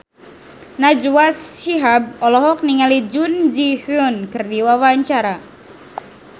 Najwa Shihab olohok ningali Jun Ji Hyun keur diwawancara